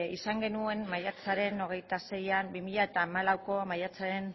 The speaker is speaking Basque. izan genuen maiatzaren hogeita seian bi mila hamalauko maiatzaren